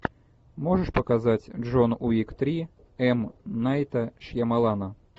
можешь показать джон уик три м найта шьямалана